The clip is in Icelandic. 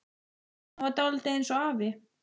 Hann var dálítið eins og afi.